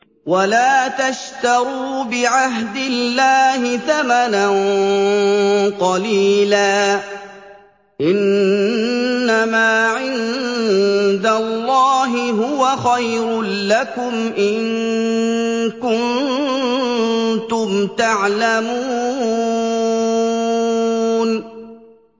وَلَا تَشْتَرُوا بِعَهْدِ اللَّهِ ثَمَنًا قَلِيلًا ۚ إِنَّمَا عِندَ اللَّهِ هُوَ خَيْرٌ لَّكُمْ إِن كُنتُمْ تَعْلَمُونَ